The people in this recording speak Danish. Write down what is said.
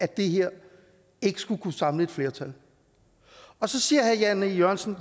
det her ikke skulle kunne samle et flertal og så siger herre jan e jørgensen